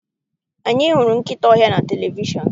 Anyị hụrụ nkịta ọhịa na televishọn.